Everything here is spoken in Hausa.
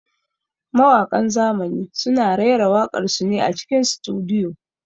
Mawaƙan zamani suna raira waƙar su ne a cikin sutudiyo.